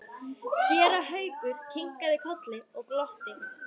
Séra Haukur kinkaði kolli og glotti.